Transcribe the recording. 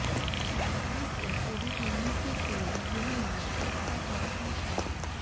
bypass के शुरू होने से पूर्व यह मार्ग खस्ता हालत में था